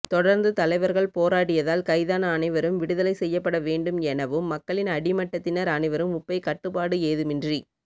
தொடர்ந்து தலைவர்கள் போராடியதால் கைதான அனைவரும் விடுதலை செய்யப்பட வேண்டும் எனவும் மக்களின் அடிமட்டத்தினர் அனைவரும் உப்பை கட்டுப்பாடு ஏதுமின்றி